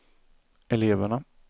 eleverna